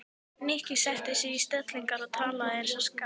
Nikki setti sig í stellingar og talaði eins og skáld.